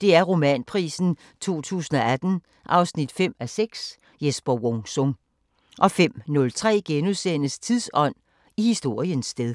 DR Romanprisen 2018 5:6 – Jesper Wung Sung * 05:03: Tidsånd: I historiens sted *